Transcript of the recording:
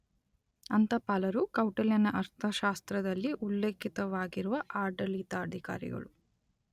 ಅಂತಪಾಲರು - ಕೌಟಿಲ್ಯನ ಅರ್ಥಶಾಸ್ತ್ರದಲ್ಲಿ ಉಲ್ಲೇಖಿತವಾಗಿರುವ ಆಡಳಿತಾಧಿಕಾರಿಗಳು.